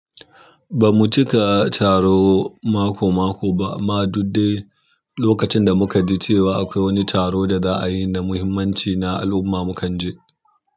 Bamu cika taro mako mako ba amma duk dai lokacin da muka ji cewa cewa akwai wani taro da za'ayi na muhimmanci na al'umma mukan je.